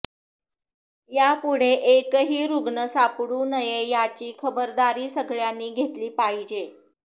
यापुढे एकही रुग्ण सापडू नये याची खबरदारी सगळ्यानी घेतली पाहिजे